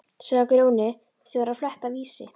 sagði Grjóni sem var að fletta Vísi.